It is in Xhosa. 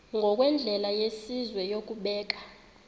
ngokwendlela yesizwe yokubeka